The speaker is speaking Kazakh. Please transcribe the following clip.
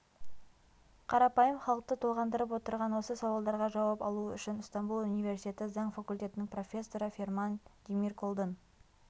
қарапайым халықты толғандырып отырған осы сауалдарға жауап алу үшін ыстамбұл универсиеті заң факультетінің профессоры ферман демирколдың